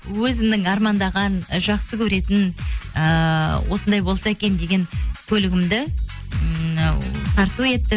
өзімнің армандаған ы жақсы көретін ыыы осындай болса екен деген көлігімді ммм тарту етті